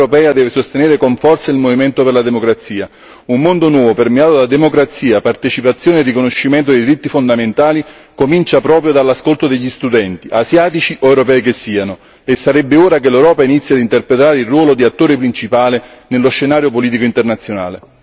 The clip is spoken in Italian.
L'Unione europea deve sostenere con forza il movimento per la democrazia, un mondo nuovo, permeato da democrazia, partecipazione e riconoscimento dei diritti fondamentali, comincia proprio dall'ascolto degli studenti, asiatici o europei che siano, e sarebbe ora che l'Europa inizi ad interpretare il ruolo di attore principale nello senario politico internazionale.